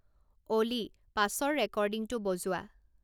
অ'লি, পাছৰ ৰেকৰ্ডিঙটো বজোৱা